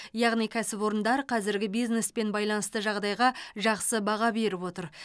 яғни кәсіпорындар қазіргі бизнеспен байланысты жағдайға жақсы баға беріп отыр